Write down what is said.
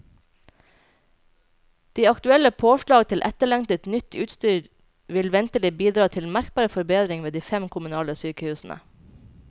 De aktuelle påslag til etterlengtet, nytt utstyr vil ventelig bidra til merkbar forbedring ved de fem kommunale sykehusene.